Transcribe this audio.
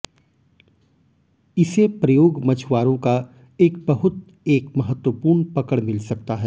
इसे प्रयोग मछुआरों का एक बहुत एक महत्वपूर्ण पकड़ मिल सकता है